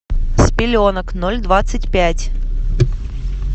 с пеленок ноль двадцать пять